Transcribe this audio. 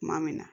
Tuma min na